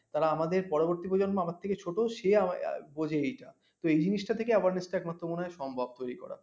তারা আমাদের পরবর্তী প্রজন্ম আমার থেকে ছোট সে বুঝে এটা তো এই জিনিস টা থেকে awareness টা একমাত্র মনে হয় সম্ভব তৈরী করা